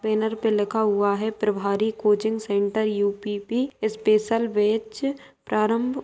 banner पे लिखा हुआ है प्रभारी coaching centre UPP special batch प्रारंभ --